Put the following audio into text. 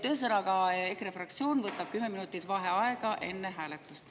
Ühesõnaga, EKRE fraktsioon võtab 10 minutit vaheaega enne hääletust.